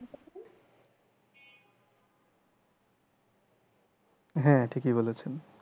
হ্যাঁ ঠিকই বলেছেন।